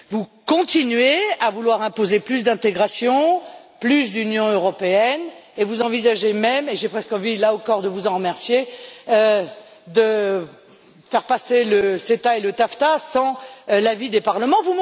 Vous continuez à vouloir imposer plus d'intégration et plus d'Union européenne, et vous envisagez même et j'ai presque envie, là encore, de vous en remercier de faire passer le CETA et le TAFTA sans l'avis des parlements.